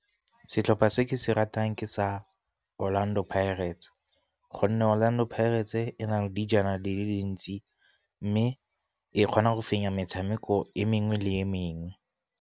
Setlhopha se ke se ratang ke sa Orlando Pirates gonne Orlando Pirates e nale dijana di le dintsi, mme e kgona go fenya metshameko e mengwe le e mengwe.